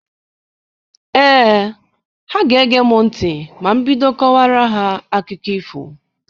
Ee, ha ga-ege m ntị ma m bido kọwara ha akụkọ ifo.